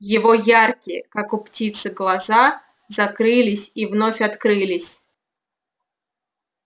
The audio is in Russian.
его яркие как у птицы глаза закрылись и вновь открылись